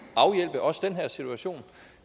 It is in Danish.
afhjælpe også den her situation